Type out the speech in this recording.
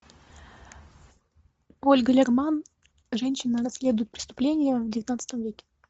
ольга лерман женщина расследует преступления в девятнадцатом веке